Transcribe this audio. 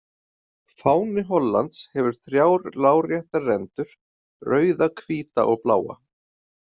Fáni Hollands hefur þrjár láréttar rendur, rauða, hvíta og bláa.